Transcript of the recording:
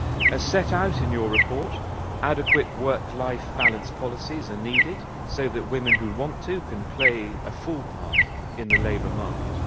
As set out in your report, adequate work-life balance policies are needed so that women who want to can play a full part in the labour market.